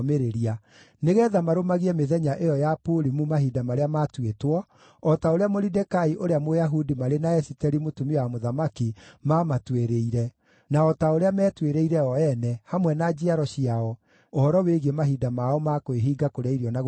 nĩgeetha marũmagie mĩthenya ĩyo ya Purimu mahinda marĩa matuĩtwo, o ta ũrĩa Moridekai ũrĩa Mũyahudi marĩ na Esiteri, mũtumia wa mũthamaki maamatuĩrĩire, na o ta ũrĩa meetuĩrĩire o ene, hamwe na njiaro ciao, ũhoro wĩgiĩ mahinda mao ma kwĩhinga kũrĩa irio na gũcakaya.